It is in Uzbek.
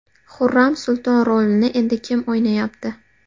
Xurram Sulton rolini endi kim o‘ynayapti?.